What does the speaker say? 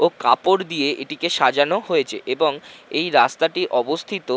ও কাপড় দিয়ে এটিকে সাজানো হয়েছে এবং এই রাস্তাটি অবস্থিত--